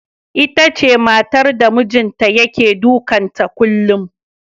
Itace matar da mijinta yake dukan ta kullum.